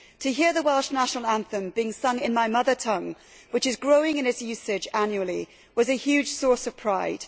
To hear the Welsh national anthem being sung in my mother tongue, which is growing in its usage annually, was a huge source of pride.